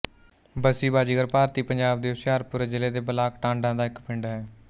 ਬਸੀ ਬਾਜੀਗਰ ਭਾਰਤੀ ਪੰਜਾਬ ਦੇ ਹੁਸ਼ਿਆਰਪੁਰ ਜ਼ਿਲ੍ਹੇ ਦੇ ਬਲਾਕ ਟਾਂਡਾ ਦਾ ਇੱਕ ਪਿੰਡ ਹੈ